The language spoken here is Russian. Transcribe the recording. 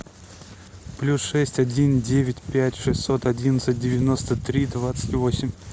плюс шесть один девять пять шестьсот одиннадцать девяносто три двадцать восемь